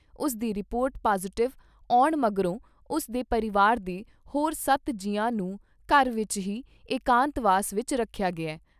ਉਸ ਦੀ report positive ਆਉਣ ਮਗਰੋਂ ਉਸ ਦੇ ਪਰਿਵਾਰ ਦੇ ਹੋਰ ਸੱਤ ਜੀਆਂ ਨੂੰ ਘਰ ਵਿਚ ਹੀ ਇਕਾਂਤਵਾਸ ਵਿਚ ਰੱਖਿਆ ਗਿਆ ।